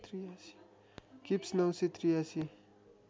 kips ९८३